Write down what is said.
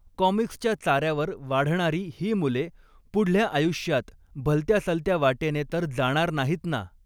कॉमिक्सच्या चाऱ्यावर वाढणारी ही मुले पुढल्या आयुष्यात भलत्यासलत्या वाटेने तर जाणार नाहीत ना